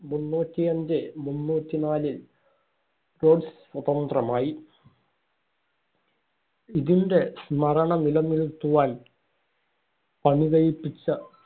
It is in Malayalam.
മുന്നൂറ്റി അഞ്ച് - മുന്നൂറ്റി നാലില്‍ റോഡ്സ് സ്വതന്ത്രമായി. ഇതിന്‍റെ സ്മരണ നിലനിറുത്തുവാൻ പണി കഴിപ്പിച്ച